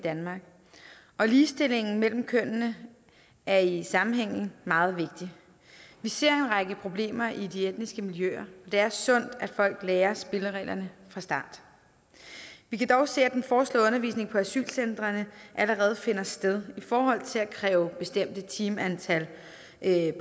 danmark og ligestillingen mellem kønnene er i sammenhængen meget vigtig vi ser en række problemer i de etniske miljøer og det er sundt at folk lærer spillereglerne fra start vi kan dog se at den foreslåede undervisning på asylcentrene allerede finder sted i forhold til at kræve bestemte timeantal